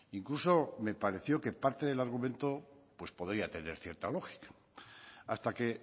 incluso me pareció que parte del argumento pues podría tener cierta lógica hasta que